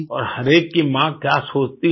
और हर एक की माँ क्या सोचती है